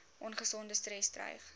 ongesonde stres dreig